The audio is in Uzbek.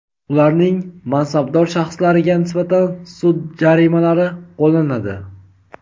ularning mansabdor shaxslariga nisbatan sud jarimalari qo‘llanadi.